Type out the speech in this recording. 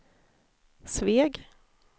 Sveg